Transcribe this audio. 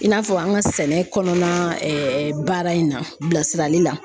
I n'a fɔ an ka sɛnɛ kɔnɔna baara in na bilasirali la.